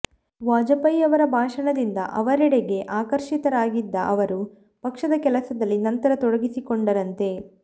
ವಾಜಪೇಯಿಯವರ ಭಾಷಣಗಳಿಂದ ಅವರೆಡೆಗೆ ಆಕರ್ಷಿತರಾಗಿದ್ದ ಅವರು ಪಕ್ಷದ ಕೆಲಸದಲ್ಲಿ ನಂತರ ತೊಡಗಿಸಿಕೊಂಡರಂತೆ